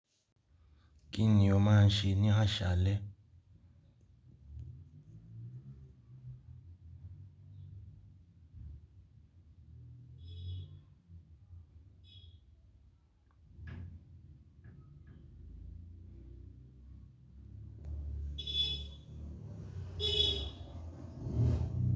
Kí ni ó máa ń ṣe ní àsálẹ́?